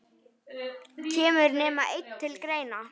Kemur nema einn til greina?